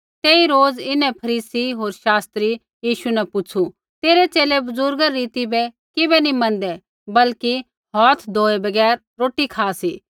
तेई रोज़ इन्हैं फरीसी होर शास्त्रियै यीशु न पुछ़ू तेरै च़ेले बुज़ुर्ग री रीति बै किबै नी मँनदै बल्कि हौथ धोऐ बगैर रोटी खा सी